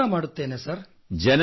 ಖಂಡಿತ ಮಾಡುತ್ತೇನೆ ಸರ್